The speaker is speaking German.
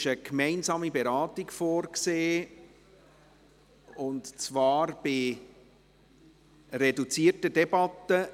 Dort ist eine gemeinsame Beratung vorgesehen, und zwar bei reduzierter Debatte.